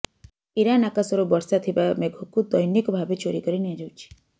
Iran ଆକାଶରୁ ବର୍ଷା ଥିିବା ମେଘକୁ ଦୈନିକ ଭାବେ ଚୋରି କରି ନିଆଯାଉଛି